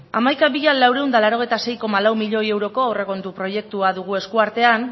hamaika mila laurehun eta laurogeita sei koma lau milioi euroko aurrekontu proiektua dugu esku artean